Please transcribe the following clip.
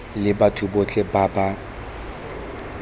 le batho botlhe ba ba